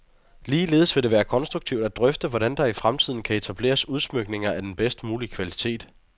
Ligeledes vil det være konstruktivt at drøfte, hvordan der i fremtiden kan etableres udsmykninger af den bedst mulige kvalitet.